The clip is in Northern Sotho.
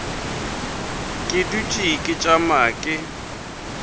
ke dutše ke tšama ke